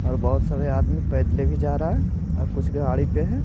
और बहुत सारे आदमी पैदले भी जा रहा है और कुछ गाड़ी पे है।